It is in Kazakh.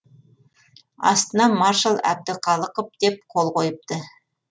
астына маршал әбдіқалықов деп қол қойыпты